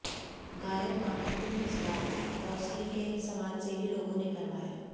गायों का अंतिम संस्कार कोसली के समाजसेवी लोगों ने करवाया